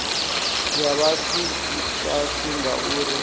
ya vhathu i fhasi ngauri